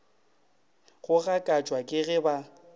go gakatšwa ke ge ba